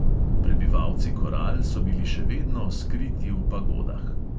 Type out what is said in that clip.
Prebivalci koral so bili še vedno skriti v pagodah.